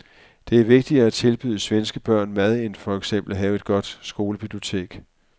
Det er vigtigere at tilbyde svenske børn mad end for eksempel at have et godt skolebibliotek.